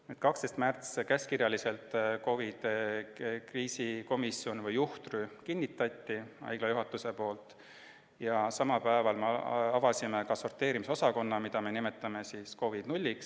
12. märts: haigla juhatus kinnitas käskkirjaliselt COVID-i kriisikomisjoni või juhtrühma ja samal päeval avasime sorteerimisosakonna, mida me nimetasime COVID-nulliks.